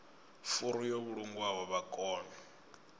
furu yo vhulungwaho vha kone